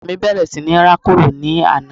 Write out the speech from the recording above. ọmọ mí bẹ̀rẹ̀ sí rákòrò ní àná